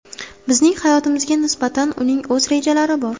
Bizning hayotimizga nisbatan uning o‘z rejalari bor.